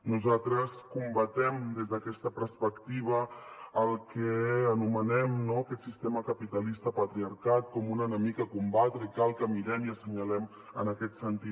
nosaltres combatem des d’aquesta perspectiva el que anomenem no aquest sistema capitalista patriarcat com un enemic a combatre i cal que mirem i assenyalem en aquest sentit